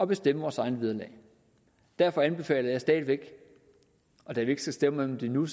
bestemme vores eget vederlag derfor anbefaler jeg stadig væk og da vi ikke skal stemme om det endnu